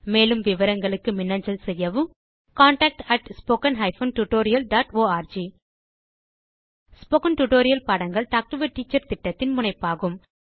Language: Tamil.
மேலும் விவரங்களுக்கு மின்னஞ்சல் செய்யவும் contactspoken hyphen tutorial dot org spoken tutorial பாடங்கள் டாக் டு எ டீச்சர் திட்டத்தின் முனைப்பாகும்